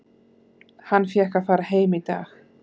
Hann fékk að fara heim í dag.